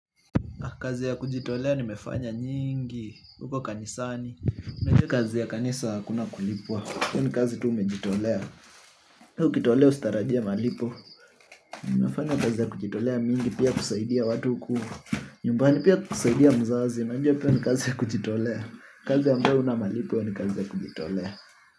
Kazi ya kujitolea nimefanya nyingi, huko kanisani mimi najua kazi ya kanisa hakuna kulipwa, kwa hiyo ni kazi tu nimejitolea. Ata ukijitolea usitarajie malipo. Nimefanya kazi nyingi ya kujitolea, pia kusaidia watu huku nyumbani pia kusaidia mzazi. Unajua, pia ni kazi ya kujitolea. Kazi ambayo haina malipo ni kazi ya kujitolea.